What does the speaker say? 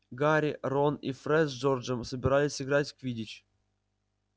гарри рон и фред с джорджем собирались играть в квиддич